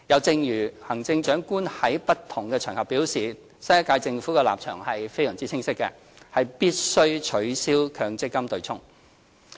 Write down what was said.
正如行政長官在不同場合表示，新一屆政府立場非常清晰，必須取消強積金對沖。